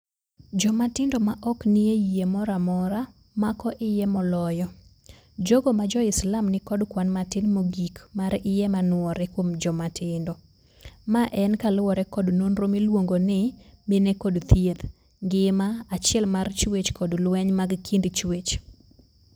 Jomatindo maok nie yie moramora mako iye moloyo. Jogo majoislam nikod kwan matin mogik mar iye manuore kuom jomatindo. Maen kalure kod nonro miluongo ni: Mine kod thieth, ngima, achiel mar chwech kod lweny mag kind chwech.